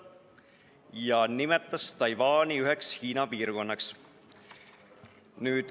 Ja ta nimetas Taiwani üheks Hiina piirkonnaks.